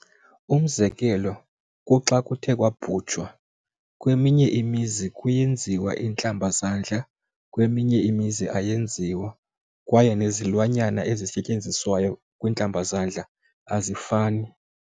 Umzekelo kuxa kuthe kwaabo khutshwa kweminye imizi kuyenziwa iintlambazandla kweminye imizi ayenziwa, kwaye nezilwanyana ezisetyenziswayo kwiintlabazandla azifani.